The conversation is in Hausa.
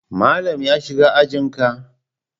Malam ya shiga ajin ka?